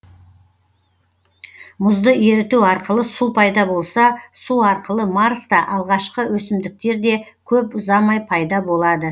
мұзды еріту арқылы су пайда болса су арқылы марста алғашқы өсімдіктер де көп ұзамай пайда болады